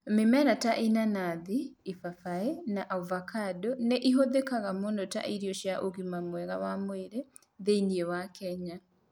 Mĩmera ta ĩnanas, papaya, na avocado nĩ ĩhũthĩkaga mũno ta irio cia ũgima mwega wa mwĩrĩ thĩinĩ wa Kenya.